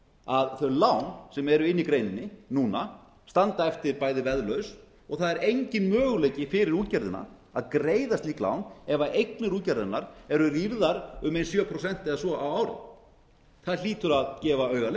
að þau lán sem eru inni í greininni núna standa eftir bæði veðlaus og það er enginn möguleiki fyrir útgerðina að greiða slík lán ef eignir útgerðarinnar eru rýrðar um ein sjö prósent eða svo á ári það hlýtur að gefa auga